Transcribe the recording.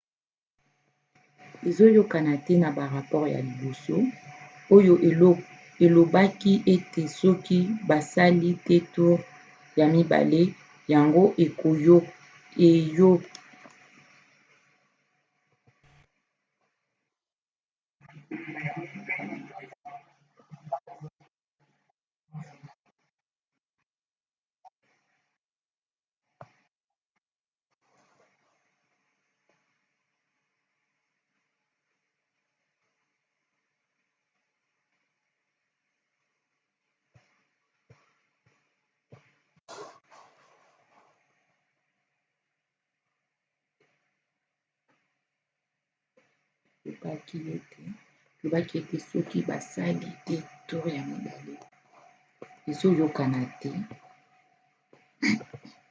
ezoyokana te na barapore ya liboso oyo elobaki ete soki basali te toure ya mibale yango eyokani te na mibeko ya mboka